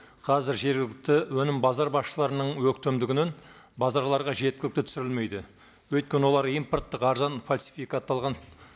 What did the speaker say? қазір жергілікті өнім базар басшыларының өктемдігінен базарларға жеткілікті түсірілмейді өйткені олар импорттық арзан фальсификатталған